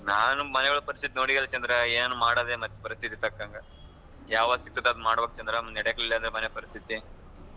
ನಾನ್ಮನೆಯೊಳಗ್ ಪರಿಸ್ಥಿತಿ ನೋಡಿಯಲ್ಲಾ ಚಂದ್ರ ಏನ್ ಮಾಡದೇ ಪರಿಸ್ಥಿತಿಗ್ ತಕ್ಕಂಗ ಯಾವದ್ ಸಿಕ್ತದ್ ಅದು ಮಾಡ್ಬೇಕ್ ಚಂದ್ರ ಇಲ್ಲಾ ನಡೆಕಿಲ್ಲ ಮನೆ ಪರಿಸ್ಥಿತಿ.